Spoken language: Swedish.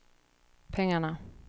pengarna